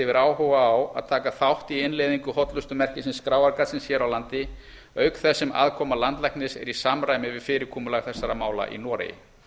yfir áhuga á að taka þátt í innleiðingu hollustumerkisins skráargatsins hér á landi auk þess sem aðkoma landlæknis er í samræmi við fyrirkomulag þessara mála í noregi